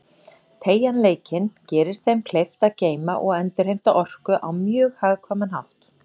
Teygjanleikinn gerir þeim kleift að geyma og endurheimta orku á mjög hagkvæman hátt.